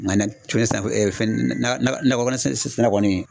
Nga na na sisan fɛn fɛn nakɔ sisan kɔni